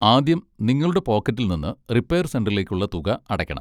ആദ്യം നിങ്ങളുടെ പോക്കറ്റിൽ നിന്ന് റിപ്പയർ സെന്ററിലേക്കുള്ള തുക അടയ്ക്കണം.